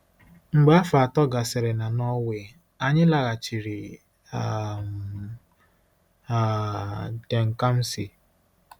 Mgbe afọ atọ gasịrị na Norway, anyị laghachiri um um DenKamsi.